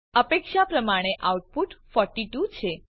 અપેક્ષા પ્રમાણે આઉટપુટ 42 છે